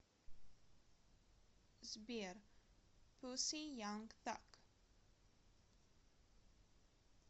сбер пусси янг таг